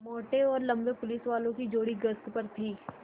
मोटे और लम्बे पुलिसवालों की जोड़ी गश्त पर थी